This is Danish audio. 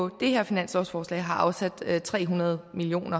det her finanslovforslag har afsat tre hundrede million